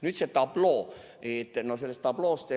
Nüüd see tabloo.